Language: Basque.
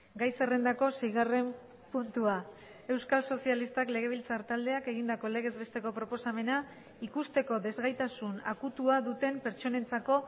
gai zerrendako seigarren puntua euskal sozialistak legebiltzar taldeak egindako legez besteko proposamena ikusteko desgaitasun akutua duten pertsonentzako